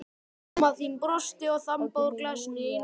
Mamma þín brosti og þambaði úr glasinu í einum teyg.